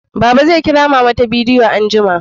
Baba zai Kira mama ta bidiyo anjima